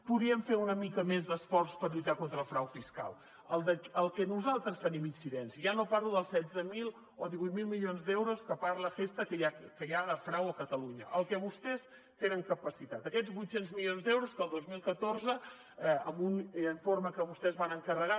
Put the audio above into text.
podríem fer una mica més d’esforç per lluitar contra el frau fiscal el que nosaltres tenim incidència ja no parlo dels setze mil o divuit mil milions d’euros que parla gestha que hi ha de frau a catalunya el que vostès tenen capacitat aquests vuit cents milions d’euros que el dos mil catorze en un informe que vostès van encarregar